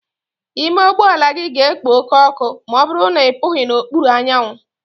Ime ụgbọ ala gị ga-ekpo oke ọkụ ma ọ bụrụ na ị pụghi n'okpuru anyanwụ.